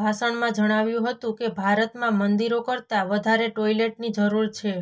ભાષણમાં જણાવ્યું હતું કે ભારતમાં મંદિરો કરતા વધારે ટોયલેટની જરૂર છે